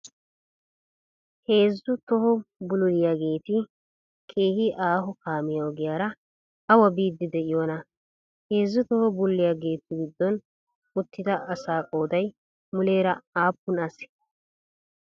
Heezzu toho bululiyageeti keehi ahoo kaammiyaa ogiyara awa biyddi de'iyonaa? Heezzu toho bululiyaageetu giddon uttida asaa qooday muleera appun asee?